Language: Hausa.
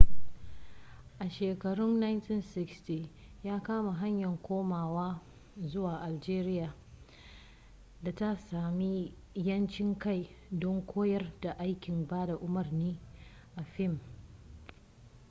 a shekarun 1960 ya kama hanyar komawa zuwa algeria da ta sami 'yancin kai don koyar da aikin bada umarni a fim